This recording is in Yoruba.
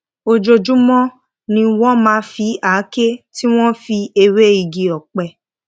ojoojúmó ni wón máa fi àáké tí wón fi ewé igi òpẹ